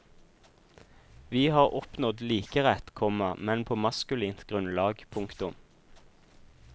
Vi har oppnådd likerett, komma men på maskulint grunnlag. punktum